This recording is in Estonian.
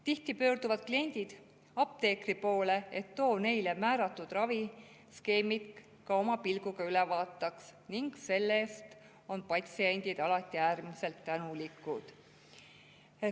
Tihti pöörduvad kliendid apteekri poole, et too neile määratud raviskeemi ka oma pilguga üle vaataks, ning selle eest on patsiendid alati äärmiselt tänulikud.